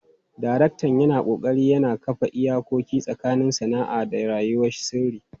Daraktan yana ƙoƙari ya kafa iyakoki tsakanin sana'a da rayuwar sirri.